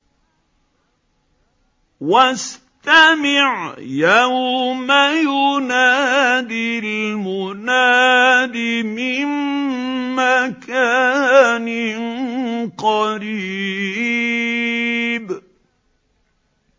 وَاسْتَمِعْ يَوْمَ يُنَادِ الْمُنَادِ مِن مَّكَانٍ قَرِيبٍ